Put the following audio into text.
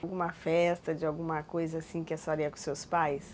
Alguma festa, de alguma coisa assim que a senhora ia com os seus pais?